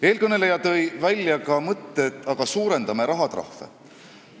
Eelkõneleja tegi ettepaneku suurendada rahatrahve.